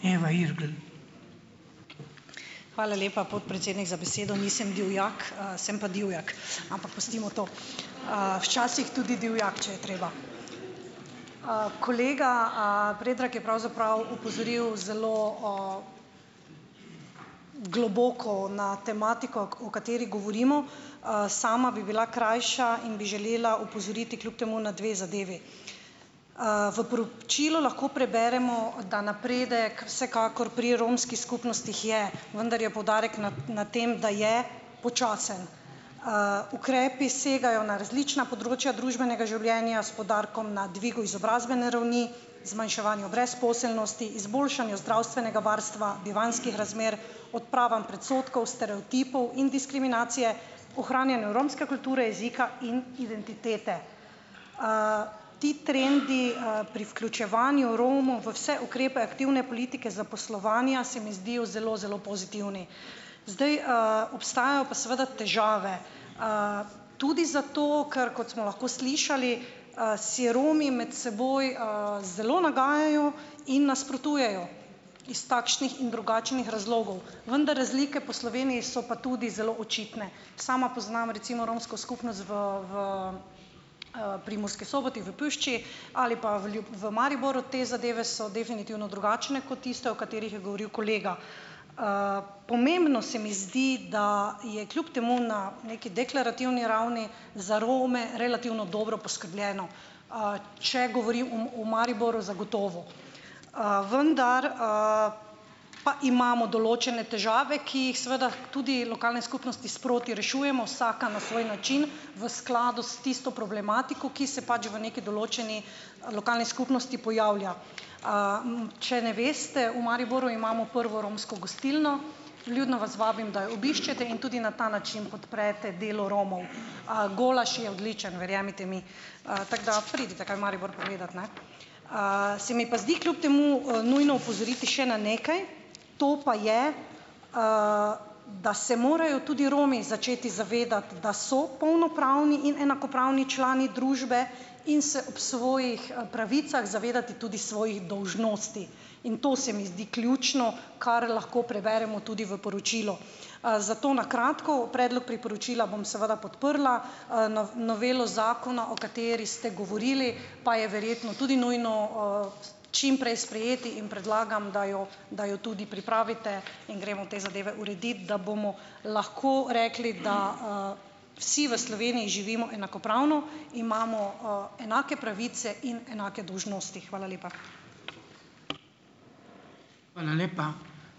Hvala lepa, podpredsednik, za besedo. Nisem Divjak, sem pa Divjak, ampak pustimo to. Včasih tudi divjak, če je treba. Kolega, Predrag je pravzaprav opozoril zelo o globoko na tematiko, k o kateri govorimo. Sama bi bila krajša in bi želela opozoriti kljub temu na dve zadevi. V poročilu lahko preberemo, da napredek vsekakor pri romski skupnostih je, vendar je poudarek na na tem, da je počasen. Ukrepi segajo na različna področja družbenega življenja s poudarkom na dvigu izobrazbene ravni, zmanjševanju brezposelnosti, izboljšanju zdravstvenega varstva, bivanjskih razmer, odpravam predsodkov, stereotipov in diskriminacije, ohranjanju romske kulture, jezika in identitete. Ti trendi, pri vključevanju Romov v vse ukrepe aktivne politike zaposlovanja se mi zdijo zelo zelo pozitivni. Zdaj, obstajajo pa seveda težave, tudi zato, ker, kot smo lahko slišali, si Romi med seboj, zelo nagajajo in nasprotujejo iz takšnih in drugačnih razlogov. Vendar razlike po Sloveniji so pa tudi zelo očitne. Sama poznam, recimo, romsko skupnost v v, pri Murski Soboti v Pušči ali pa v v Mariboru. Te zadeve so definitivno drugačne kot tiste, o katerih je govoril kolega. Pomembno se mi zdi, da je kljub temu na neki deklarativni ravni za Rome relativno dobro poskrbljeno. Če govorim o o Mariboru, zagotovo. Vendar, pa imamo določene težave, ki jih seveda tudi lokalne skupnosti sproti rešujemo vsaka na svoj način v skladu s tisto problematiko, ki se pač v nekaj določeni lokalni skupnosti pojavlja. Če ne veste, v Mariboru imamo prvo romsko gostilno. Vljudno vas vabim, da jo obiščete in tudi na ta način podprete delo Romov. Golaž je odličen, verjemite mi. Tako da pridite kaj v Maribor pogledat, ne. Se mi pa zdi kljub temu, nujno opozoriti še na nekaj, to pa je, da se morajo tudi Romi začeti zavedati, da so polnopravni in enakopravni člani družbe in se ob svojih pravicah zavedati tudi svojih dolžnosti. In to se mi zdi ključno, kar lahko preberemo tudi v poročilu. Zato na kratko, predlog priporočila bom seveda podprla, novelo zakona, o kateri ste govorili, pa je verjetno tudi nujno, čimprej sprejeti. In predlagam, da jo da jo tudi pripravite in gremo te zadeve uredit, da bomo lahko rekli, da, vsi v Sloveniji živimo enakopravno, imamo, enake pravice in enake dolžnosti. Hvala lepa.